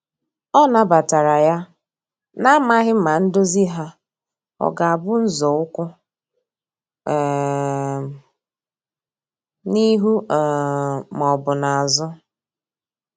Ọ na batara ya, na amaghi ma ndozi ha ọga bụ nzọụkwụ um n'ihu um ma ọbụ n'azu